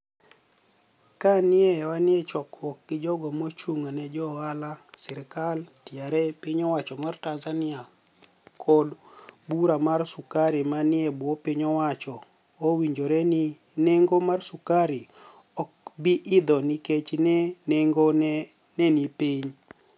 Kani e wani e chokruok gi jogo ma ochunig ' ni e jo ohala, sirkal, TRA (piniy owacho ma tanizanii) kod bura mar sukari ma niie bwo piniy owacho owinijore nii ni enigo mar sukari ok bi idho niikech ni enigo ni e nii piniy. "